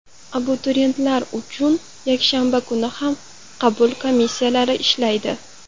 Abituriyentlar uchun yakshanba kuni ham qabul komissiyalari ishlaydi.